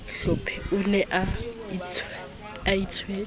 hlephe o ne a itswetse